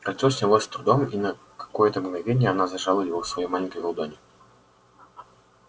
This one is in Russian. кольцо снялось с трудом и на какое-то мгновение она зажала его в своей маленькой ладони